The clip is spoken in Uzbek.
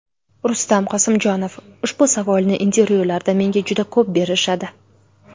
Rustam Qosimjonov: Ushbu savolni intervyularda menga juda ko‘p berishadi.